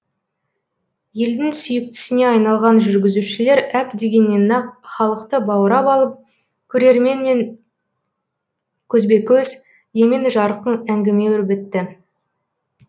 елдің сүйіктісіне айналған жүргізушілер әп дегеннен ақ халықты баурап алып көрерменмен көзбе көз емен жарқын әңгіме өрбітті